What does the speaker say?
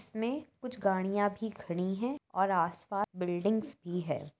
इसमें कुछ गाड़िया भी खड़ी हैऔर आस पास बिल्डिंग्स भी है।